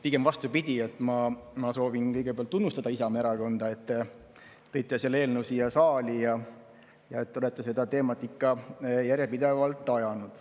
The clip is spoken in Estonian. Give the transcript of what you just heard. Pigem vastupidi, ma soovin kõigepealt tunnustada Isamaa Erakonda, et te tõite selle eelnõu siia saali ja olete seda teemat ikka järjepidevalt ajanud.